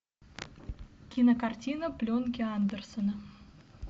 кинокартина пленки андерсона